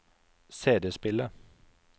CD-spiller